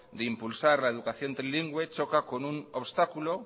de impulsar la educación trilingüe choca con un obstáculo